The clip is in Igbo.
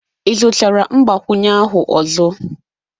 Ị zụtara mgbakwunye ahụ ọzọ?